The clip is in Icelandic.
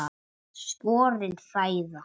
Sporin hræða.